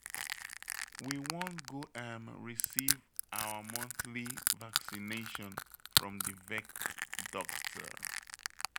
We wan go um receive our monthly vaccination from the vet doctor